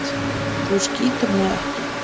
Þú skýtur mig ekki.